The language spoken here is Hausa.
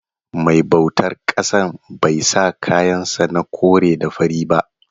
Mai bautar ƙasan bai sa kayan sa na kore da fari ba.